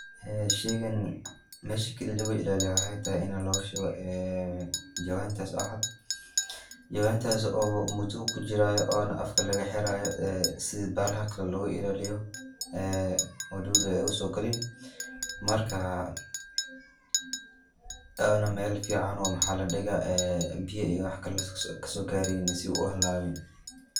Ee sheygaan meshaa kaaliya laguu ilaaliyo waxay tahay inaa laguu shuuwo jawaan taas oo caad. jawaantas oo muudo ukuu jiirayo oona afkaa lagaa xiraayo ee siida bahalaaha kaale looga ilaliiyo ee wadudu eey uso gaalin. maarka iyadanaa mel ficanoo maxa laa dhiiga ee biyaa iyo wax kaale kaaso gareyniin sii uu uhalawiin.